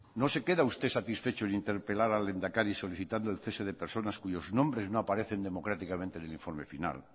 no se queda usted satisfecho en interpelar al lehendakari solicitando el cese de personas cuyos nombres no aparecen democráticamente en el informe final